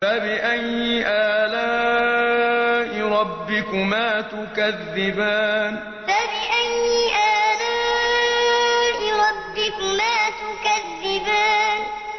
فَبِأَيِّ آلَاءِ رَبِّكُمَا تُكَذِّبَانِ فَبِأَيِّ آلَاءِ رَبِّكُمَا تُكَذِّبَانِ